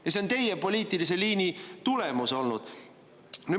Ja see on teie poliitilise liini tulemus.